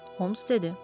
Holmes dedi.